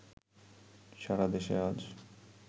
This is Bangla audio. সারাদেশে আজ